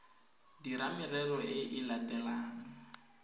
dira merero e e latelang